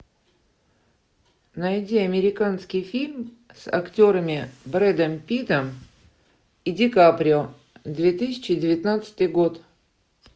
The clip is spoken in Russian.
найди американский фильм с актерами брэдом питтом и ди каприо две тысячи девятнадцатый год